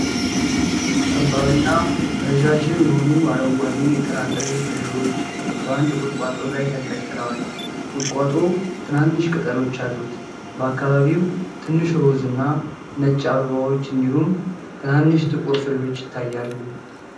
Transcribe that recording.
ጠባብና ረዣዥም የሆኑ አረንጓዴ የጥራጥሬ ፍሬዎች በአንድ ቁጥቋጦ ላይ ተንጠልጥለዋል። ቁጥቋጦው ትናንሽ ቅጠሎች አሉት። በአካባቢው ትንሽ ሮዝ እና ነጭ አበባዎች እንዲሁም ትናንሽ ጥቁር ፍሬዎች ይታያሉ።